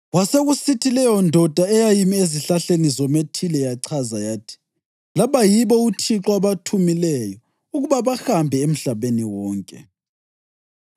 Kwasekusithi leyondoda eyayimi ezihlahleni zomethile yachaza yathi, “Laba yibo uThixo abathumileyo ukuba bahambe emhlabeni wonke.”